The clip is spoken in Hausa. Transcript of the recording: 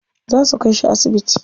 Za su kai shi asibiti.